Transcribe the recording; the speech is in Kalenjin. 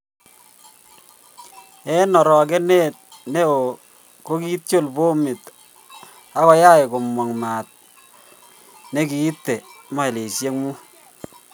En orogenet neo kogiityol bominot ag go yach komng maat naegiite mailishek muut.